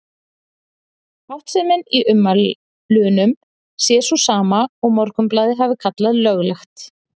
Háttsemin í ummælunum sé sú sama og Morgunblaðið hafi kallað Löglegt?